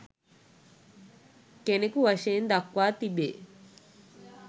කෙනකු වශයෙන් දක්වා තිබේ